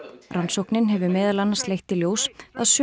rannsóknin hefur meðal annars leitt í ljós að sömu